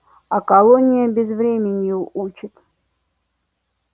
а колония безвременью учит